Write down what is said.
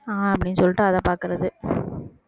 அப்படின்னு சொல்லிட்டு அதை பார்க்குறது